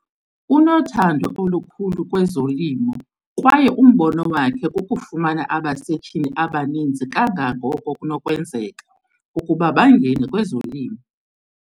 Unothando olukhulu kwezolimo kwaye umbono wakhe kukufumana abasetyhini abaninzi kangangoko kunokwenzeka ukuba bangene kwezolimo.